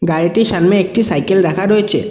বাড়িটির সামনে একটি সাইকেল রাখা রয়েছে।